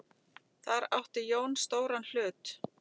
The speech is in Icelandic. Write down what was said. Þar átti Jón stóran hlut.